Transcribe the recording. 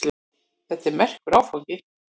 Þetta er merkur áfangi.